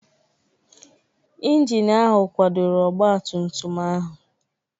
Injin ahụ kwadoro ọgba tum tum ahụ.